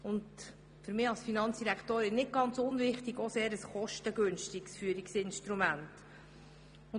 Für mich als Finanzdirektorin ist nicht ganz unwichtig, dass es auch ein kostengünstiges Führungsinstrument ist.